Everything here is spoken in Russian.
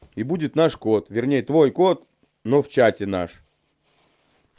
и будет наш кот вернее твой кот но в чате наш